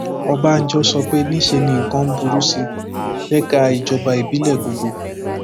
ọbànjọ sọ pé níṣe ni nǹkan ń burú sí i lẹka ìjọba ìbílẹ gbogbo